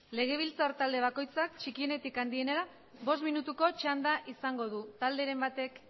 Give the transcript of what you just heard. legebiltzar talde bakoitzak txikienetik handienera bost minutuko txanda izango du talderen batek